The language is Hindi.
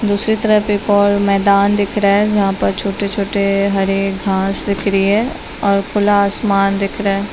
दुसरे तरफ एक और मैदान दिख रहा है जहा पर छोटे छोटे हरे घास बिखरी है और खुला आसमान दिख रहा है।